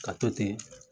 Ka to ten